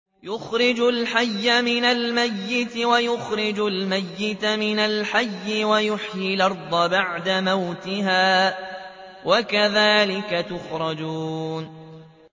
يُخْرِجُ الْحَيَّ مِنَ الْمَيِّتِ وَيُخْرِجُ الْمَيِّتَ مِنَ الْحَيِّ وَيُحْيِي الْأَرْضَ بَعْدَ مَوْتِهَا ۚ وَكَذَٰلِكَ تُخْرَجُونَ